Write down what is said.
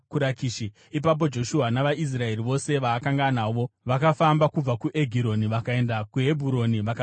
Ipapo Joshua navaIsraeri vose vaakanga anavo vakafamba kubva kuEgironi vakaenda kuHebhuroni vakarirwisa.